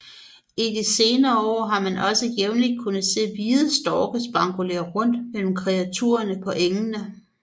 I de senere år har man også jævnlig kunnet se hvide storke spankulere rundt mellem kreaturerne på engene